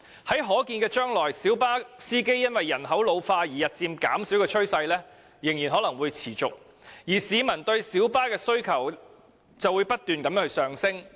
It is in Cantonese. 在可見的將來，小巴司機因為人口老化而日漸減少的趨勢將仍然會持續，但市民對小巴的需求卻不斷上升。